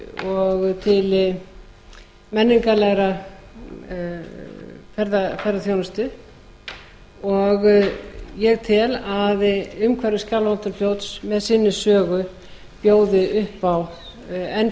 og til menningarlegrar ferðaþjónustu og ég tel að umhverfi skjálfandafljóts með sinni sögu bjóði upp á enn